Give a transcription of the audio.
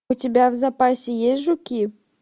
у тебя в запасе есть жуки